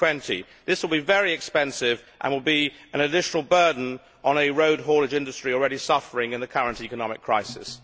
2020. This will be very expensive and will be an additional burden on a road haulage industry already suffering in the current economic crisis.